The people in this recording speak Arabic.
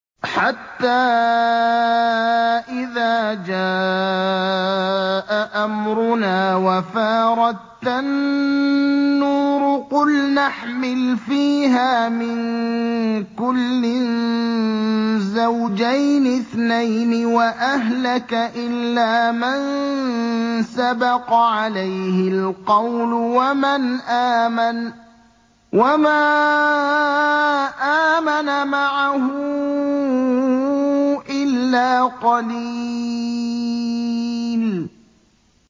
حَتَّىٰ إِذَا جَاءَ أَمْرُنَا وَفَارَ التَّنُّورُ قُلْنَا احْمِلْ فِيهَا مِن كُلٍّ زَوْجَيْنِ اثْنَيْنِ وَأَهْلَكَ إِلَّا مَن سَبَقَ عَلَيْهِ الْقَوْلُ وَمَنْ آمَنَ ۚ وَمَا آمَنَ مَعَهُ إِلَّا قَلِيلٌ